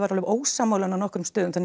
ósammála henni á nokkrum stöðum þannig